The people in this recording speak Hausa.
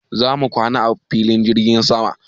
Za mu kwana a filin jirgin sama.